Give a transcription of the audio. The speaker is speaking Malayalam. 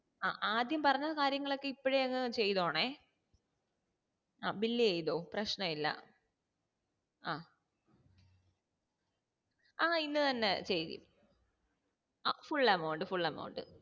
ആഹ് ആദ്യം പറഞ്ഞ കാര്യങ്ങളൊക്കെ ഇപ്പോഴേ അങ് ചെയ്തോണെ അഹ് bill എയ്‌തോ പ്രശ്നായില്ല അഹ് ആ ഇന്ന് ചെയ്യ് ആ full amount full aamount